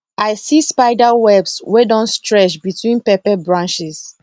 i see spider webs wey don stretch between pepper branches